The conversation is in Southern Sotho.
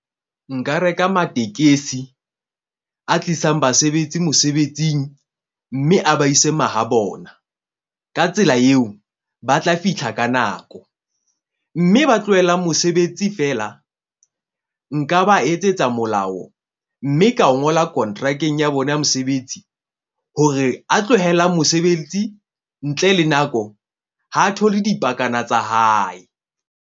Nka reka matekesi a tlisang basebetsi mosebetsing. Mme a ba ise mahabona ka tsela eo, ba tla fihla ka nako. Mme ba tlohelang mosebetsi fela nka ba etsetsa molao. Mme ka o ngola kontrakeng ya bona ya mosebetsi hore a tlohelang mosebetsi. Ntle le nako, ha thole dipakana tsa hae.